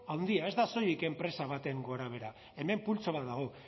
handia ez da soilik enpresa baten gorabehera hemen pultsu bat dago